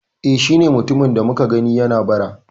E, shi ne mutumin da muka gani yana bara